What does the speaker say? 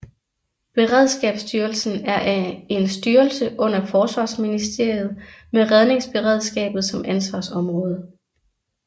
Beredskabsstyrelsen er en styrelse under Forsvarsministeriet med redningsberedskabet som ansvarsområde